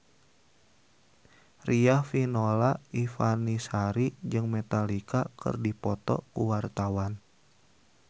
Riafinola Ifani Sari jeung Metallica keur dipoto ku wartawan